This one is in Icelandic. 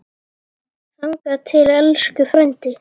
Þangað til, elsku frændi.